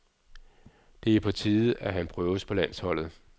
Det er på tide, at han prøves på landsholdet.